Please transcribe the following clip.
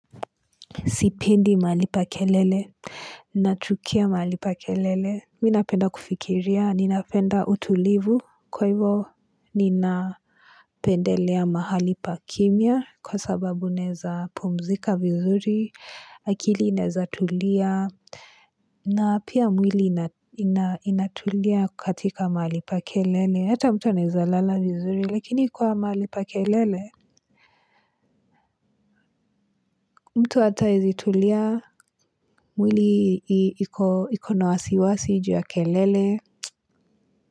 Sipendi mahali pa kelele, natukia mahali pa kelele, minapenda kufikiria, ninapenda utulivu, kwa hivo ninapendelea mahali pa kimya, kwa sababu naeza pumzika vizuri, akili inezatulia, na apia mwili inatulia katika mahali pa kelele, ata mtu anawezalala vizuri, lakini kwa mahali pa kelele, ninapendelea mahali pa kimya, kwa sababu neza pumzika vizuri, akili inezatulia, na pia mwili inatulia katika mahali pa kelele, sta mtu anawezalala vizuri, lakini kwa mahali pa kelele,